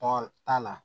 Tɔ t'a la